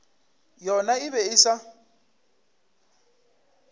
yona e be e sa